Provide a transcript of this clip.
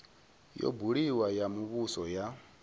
yo buliwaho ya muvhuso ya